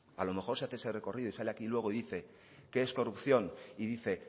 a lo mejor si hace ese recorrido y sale aquí luego y dice qué es corrupción y dice